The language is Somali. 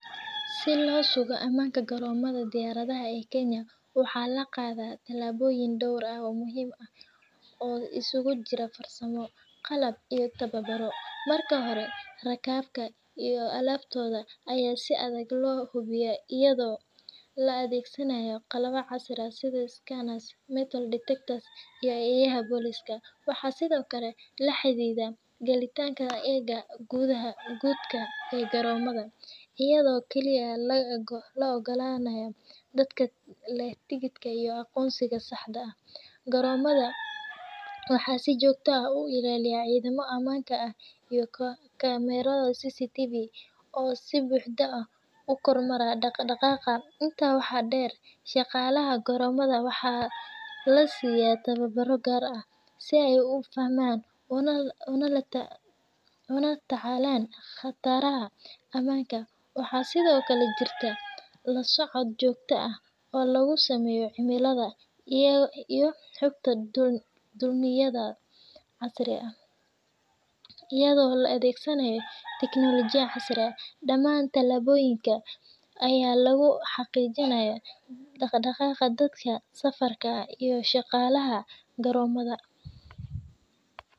Si loo sugo ammaanka garoommada diyaaradaha ee Kenya, waxaa la qaadaa tallaabooyin dhowr ah oo muhiim ah oo isugu jira farsamo, qalab iyo tababar. Marka hore, rakaabka iyo alaabtooda ayaa si adag loo hubiyaa iyadoo la adeegsanayo qalab casri ah sida scanners, metal detectors iyo eeyaha booliiska. Waxaa sidoo kale la xaddiday gelitaanka aagga gudaha ee garoommada, iyadoo kaliya la oggol yahay dadka leh tigidh iyo aqoonsi sax ah. Garoommada waxaa si joogto ah u ilaaliya ciidamo ammaanka ah iyo kamarado CCTV ah oo si buuxda u kormeera dhaqdhaqaaqa. Intaa waxaa dheer, shaqaalaha garoommada waxaa la siiyaa tababarro gaar ah si ay u fahmaan una la tacaalaan khataraha ammaanka. Waxaa sidoo kale jirta la socod joogto ah oo lagu sameeyo cimilada iyo xogta duulimaadyada, iyadoo la adeegsanayo tiknoolajiyad casri ah. Dhammaan tallaabooyinkan ayaa lagu xaqiijinayaa badqabka dadka safarka ah iyo shaqaalaha garoommada.